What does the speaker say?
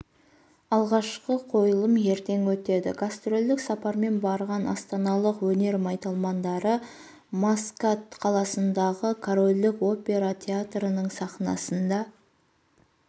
алғашқы қойылым ертең өтеді гастрольдік сапармен барған астаналық өнер майталмандары маскат қаласындағы корольдік опера театрының сахнасында